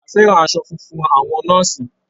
A fẹ́ràn aṣọ funfun àwọn nọ́ọ̀sì.